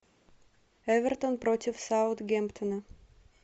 эвертон против саутгемптона